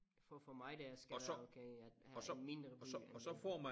For for mig det er skal være okay at have en mindre by end øh